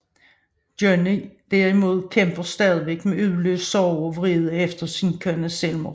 Johnny derimod kæmper stadig med uforløst sorg og vrede efter sin kones selvmord